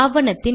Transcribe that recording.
சேமித்து